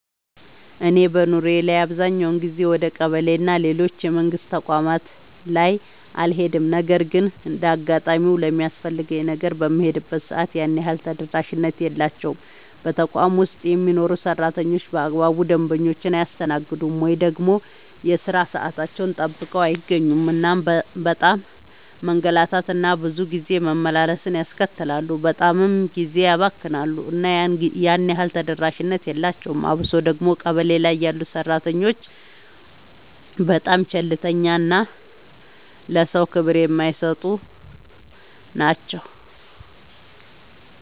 እኔ በኑሮዬ ላይ አብዛኛውን ጊዜ ወደ ቀበሌ እና ሌሎች የመንግስት ተቋማት ላይ አልሄድም ነገር ግን እንደ አጋጣሚ ለሚያስፈልገኝ ነገር በምሄድበት ሰዓት ያን ያህል ተደራሽነት የላቸውም። በተቋም ውስጥ የሚሰሩ ሰራተኞች በአግባቡ ደንበኞቻቸውን አያስተናግዱም። ወይ ደግሞ የሥራ ሰዓታቸውን ጠብቀው አይገኙም እናም በጣም መንገላታት እና ብዙ ጊዜ መመላለስን ያስከትላሉ በጣምም ጊዜ ያባክናሉ እና ያን ያህል ተደራሽነት የላቸውም። አብሶ ደግሞ ቀበሌ ላይ ያሉ ሰራተኞች በጣም ቸልተኛ እና ለሰዎች ክብር የማይሰጡ ናቸው።